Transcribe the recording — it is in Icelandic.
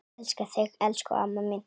Elska þig, elsku amma mín.